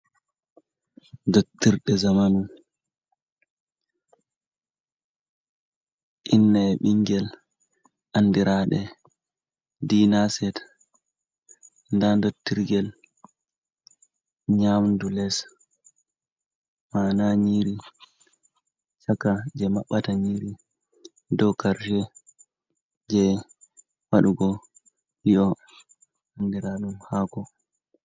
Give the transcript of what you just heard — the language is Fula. Dottirɗe zamanu, inna e ɓingel. Andiraɗe dinaset, nda ndotirgel nyamdu les, mana nyiri Chaka je Mabɓata nyiri, dou Karshe je waɗugo Li'o Andiraɗum hako.